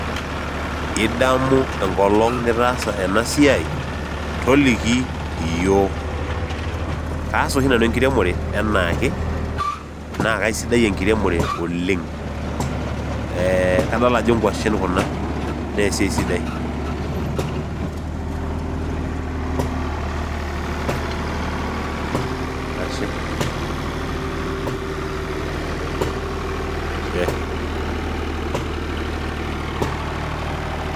Idaamu enkolong' nitaasa eena siai, toliki iyiok. Kaas ooshi naanu enkiremore enaake, naa kaisidai enkiremore oleng'.Eeh kadol aajo inkuashn kuuna naa esii sidai. silence ashe.